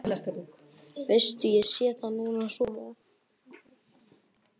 Veistu, ég sé það núna svo vel.